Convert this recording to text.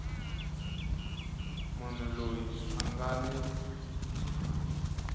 munhu loyi a nga ni